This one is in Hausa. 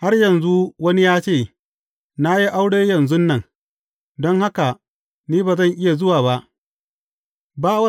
Har yanzu wani ya ce, Na yi aure yanzun nan, don haka ni ba zan iya zuwa ba.’